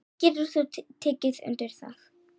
Getur þú tekið undir það?